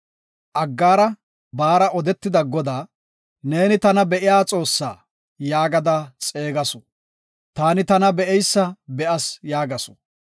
Aggaara baara odetida Godaa, “Neeni Tana Be7iya Xoossa” yaagada xeegasu. “Taani tana be7eysa be7as” yaagasu.